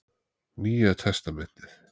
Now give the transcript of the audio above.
Nýja testamentið.